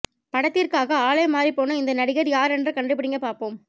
படத்திற்காக ஆளே மாறிப் போன இந்த நடிகர் யார் என்று கண்டுபிடிங்க பார்ப்போம்